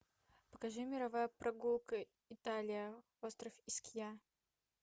покажи мировая прогулка италия остров искья